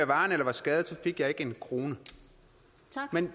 varen eller var skadet fik jeg ikke en krone